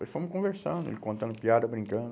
Nós fomos conversando, ele contando piada, brincando.